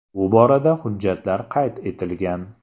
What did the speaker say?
Bu borada hujjatlar qayd etilgan.